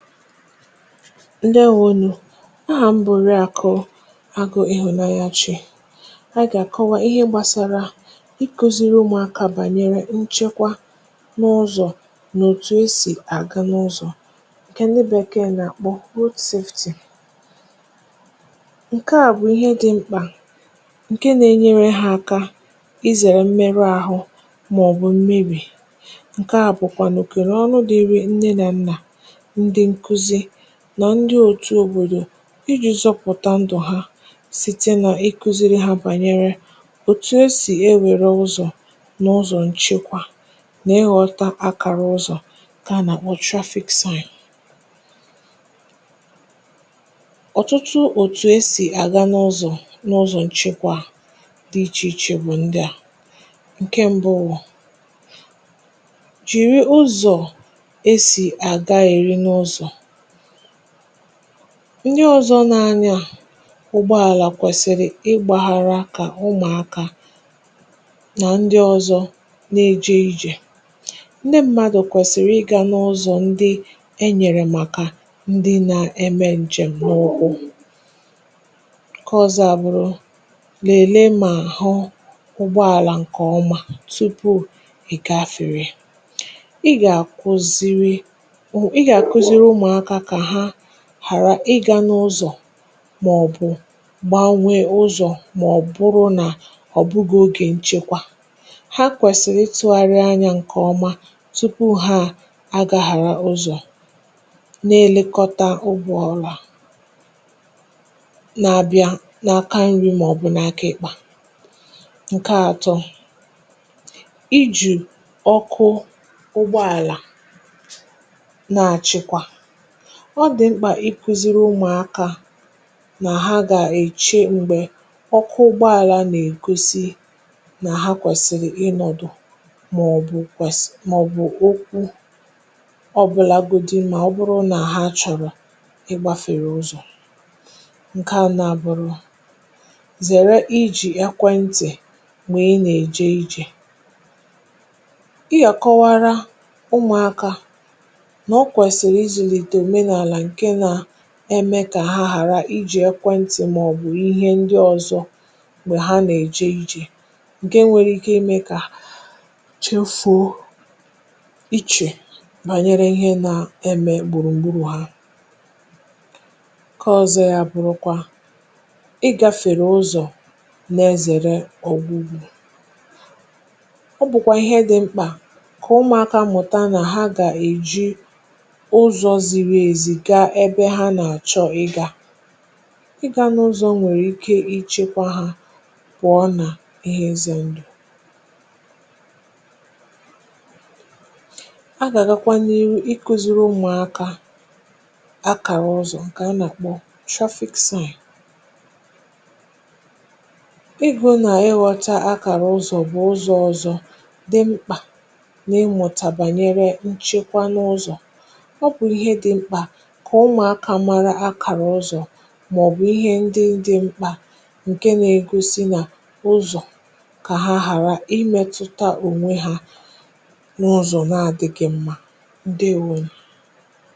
ǸDèewonù. Ahà m̀ bụ̀rù Àkụ̀ Àgụ̀ Ịhụ̀nànyà Chi. Ànyị̀ gà-àkọwa ihe gbàsàrà ịkòzìrị̀ ụmụ̀akà bànyere nchekwà n’ụzọ̀ nà òtù e si àga n’ụzọ̀, ǹkè ndị Bèkèè nà-àkpọ̀ Road Safety Education. Ǹkè à bụ̀ ihe dị̇ mkpà, nà-ènýèrè ha àkà ịzèrè mmerụ àhụ̇ màọ̀bụ̀ mmerì. Ọ bụ̀kwa nà òkèrè ọnụ dị̇rị̇ nne nà nnà, na ndị òtù òbòdò, iji̇ zọpụ̀tà ǹdù̀ ha, site nà ịkùzìrị̀ ha bànyere òtù e si ewèrè ụzọ̀ n’ụzọ̀ nchekwà, nà ịghọta àkàrà ụzọ̀, ǹkè a nà-àkpọ̀ Traffic Signs. Ọ̀tụtụ òtù e si àga n’ụzọ̀ n’ụzọ̀ nchekwà dị iche iche bụ̀ ǹdị a: Ǹkè mbụ̇, bụ̀ ịgwọ̇ ndị ọzọ̇ n’anya. Ụgbọàlà kwèsị̀rị̀ ịgbàhàrị̀ àkà, ụmụ̀akà nà ndị ọzọ̇ nà-ejè ijè, ndị mmadụ̀ kwèsị̀rị̀ ịgà n’ụzọ̇ ndị e nyèrè màkà ndị na-èmé ǹjèm̀. Ǹkè ọzọ̇ bụ̀ lèlèe, lèlèe m̀mà àhụ̇ ụgbọàlà ǹkè ọma tupu ị gafèrè. Ị gà-àkùzìrị̀ hàrà ịgà n’ụzọ̇ màọ̀bụ̀ gbaa, nwee ụzọ̀, màọ̀bụ̀rụ̀ nà ọ̀ bụgà ogè nchekwà. Ha kwèsìrì ịtụ̇gharị ànyà ǹkè ọma tupu hà àgà, ghàrà ụzọ̀, nà-elekọta ụgbọ̇ ọrụ̇ à nà-abịa n’aka ǹri màọ̀bụ̀ n’aka ǹkpà. Ǹkè atọ̇ bụ̀ iji̇ ọkụ̀ ụgbọàlà nà-achịkwa. Ọ dị̀ mkpà ikùzìrị̀ ụmụ̀akà nà ha gà-èchìè m̀gbè ọkụ̀ ụgbọàlà nà-èkòsi, nà ha kwèsìrì ịnọ̀dụ̀ màọ̀bụ̀ kwèsì màọ̀bụ̀ ọkụ̀, ọbụ̀làgòdù m̀mà, ọ bụrụ nà ha chọ̀rọ̀ ịgbàfèrè ụzọ̀. Ǹkè à nà-àbụ̀rị̀kwa, zèrè iji̇ ekwentị̀ m̀gbè ị nà-èjè ijè. Ị yàkọwàrà ụmụ̀akà, mee kà ha ghàrà iji̇ ekwentị̀ màọ̀bụ̀ ihe ndị ọzọ̇ m̀gbè ha nà-èjè ijè, n’ihi nà ǹkè à nwèrè ike imè kà ha jè fòò, màọ̀bụ̀ ghàrà ichè bànyere ihe nà-èmé gbùrùgbùrù ha. Ọ̀zọ̀kwa, ya bụ̀rị̀ ịgàfèrè ụzọ̀ nà-ezèrè ọ̀gwụgwụ̀. Ọ bụ̀kwa ihe dị̇ mkpà kà ụmụ̀akà mụ̀tà nà ha gà-èjì ebe ha nà-àchọ̀ ịgà, ịgà n’ụzọ̇ nwèrè ike ichekwà ha, bụ̀ ọ̀nà ihe ize ǹdù. A gà-agàkwà n’ihu ikùzìrị̀ nwaàkà àkàrà ụzọ̀, ǹkè a nà-àkpọ̀ Traffic Signs, yà bụ̀ ihe ọ nà-eghọta. Àkàrà ụzọ̇ bụ̀ ụzọ̇ ọ̀zọ̇ dị̇ mkpà nà ịmùtà bànyere nchekwà n’ụzọ̀, kà ụmụ̀akà màrà àkàrà ụzọ̀ màọ̀bụ̀ ihe ndị dị mkpà ǹkè nà-egosi nà ụzọ̀, kà hà ghàrà imètùtà ònwè ha n’ụzọ̀ n’adịgị̇ ǹmmà. ǸDèewonù.